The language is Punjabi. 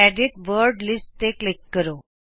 ਐਡਿਟ ਵਰਡ ਲਿਸਟ ਤੇ ਕਲਿਕ ਕਰੋ